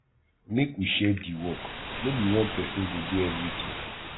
make we share di work no be one pesin go do everytin